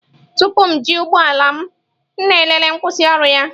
Tupu m eji ụgbọ ala m, m na-elele nkwusioru ya.